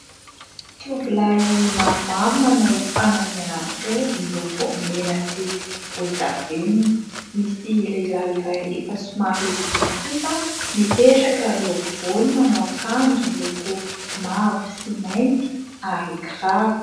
Tovolahy maromaro : manao fanamiana mitovy miloko mena sy volondavenona. Misy lehilahy iray efa somary lehibebe kosa mipetraka eo afovoany, manao akanjo miloko mavo sy mainty, ary kiraro.